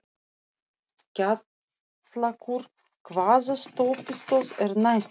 Kjallakur, hvaða stoppistöð er næst mér?